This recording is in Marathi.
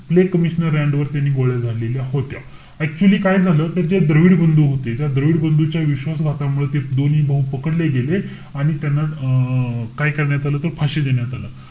तिथले commissioner रँड वरती त्यांनी गोळ्या झाडलेल्या होत्या. Actually काय झालं? ते जे द्रविड बंधू होते. त्या द्रविड बंधूंच्या विश्वासघातामुळे ते दोन्ही भाऊ पकडले गेले. आणि त्यांना अं काय करण्यात आलं होत? फाशी देण्यात आलं.